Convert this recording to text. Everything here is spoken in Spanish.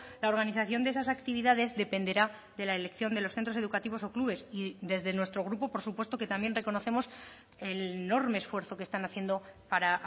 la organización de esas actividades dependerá de la elección de los centros educativos o clubes y desde nuestro grupo por supuesto que también reconocemos el enorme esfuerzo que están haciendo para